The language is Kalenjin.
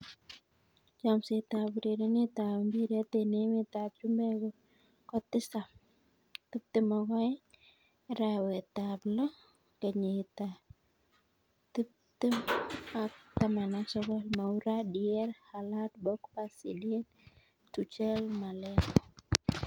Chomset ab urerenet ab mbiret eng emet ab chumbek kotisap 22.09.2019: Moura, Dier, Haaland, Pogba, Zidane, Tuchel, Malen